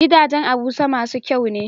Gidajan abuja masu kyane